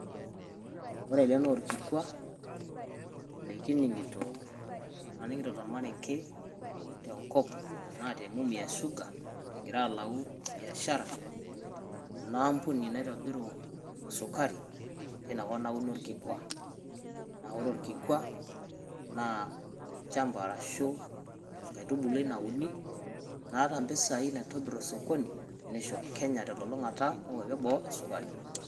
Ore ele naa orkikua, likining'ito laning'ito tormarenke, tenkop enaa te Mumias Sugar, egira alau biashara, inaampuni naitobiru sukari, inakop nauni orkikua. Na ore orkikua, naa olchamba arashu enkaitubului nauini, naata mpisai naitobir osokoni, nisho Kenya telulung'ata enkwapi eboo esukari.